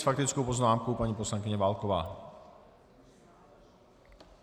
S faktickou poznámkou paní poslankyně Válková.